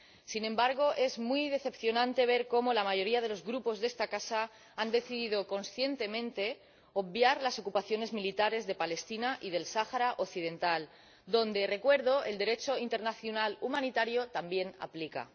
Sin embargo, es muy decepcionante ver como la mayoría de los Grupos de esta casa han decidido conscientemente obviar las ocupaciones militares de Palestina y del Sáhara Occidental, donde, recuerdo, el Derecho internacional humanitario también se aplica.